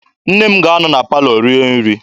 Nne m ga-anọ na palọ rie nri.